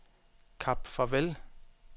Kap Farvel